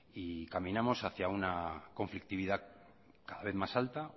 y caminamos hacia una conflictividad cada vez más alta